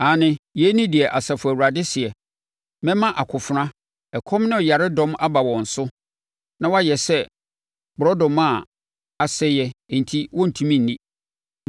aane, yei ne deɛ Asafo Awurade seɛ: “Mɛma akofena, ɛkɔm ne yaredɔm aba wɔn so, na wɔayɛ sɛ borɔdɔma a asɛeɛ enti wɔntumi nni.